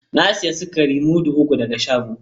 Na sayi sukari mudu uku daga shagon.